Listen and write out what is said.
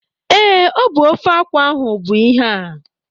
Ee, ọ bụ ofe akwụ ahụ bụ ihe a